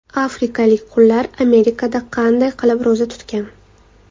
Afrikalik qullar Amerikada qanday qilib ro‘za tutgan?.